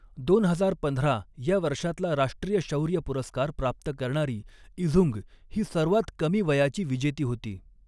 दोन हजार पंधरा या वर्षातला राष्ट्रीय शौर्य पुरस्कार प्राप्त करणारी इझुंग ही सर्वात कमी वयाची विजेती होती.